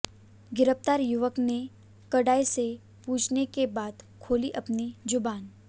गिरफ्तार युवक ने कड़ाई से पूछने के बाद खोली अपनी जु़बान